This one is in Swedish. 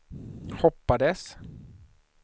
hoppades